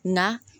Na